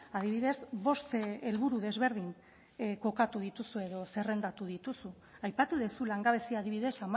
adibidez bost helburu desberdin kokatu dituzu edo zerrendatu dituzu aipatu duzu langabezia adibidez